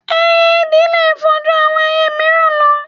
Ẹyẹ ìdì le fò ju àwọn ẹyẹ míìràn lọ